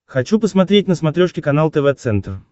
хочу посмотреть на смотрешке канал тв центр